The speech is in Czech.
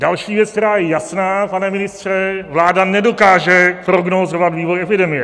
Další věc, která je jasná, pane ministře, vláda nedokáže prognózovat vývoj epidemie.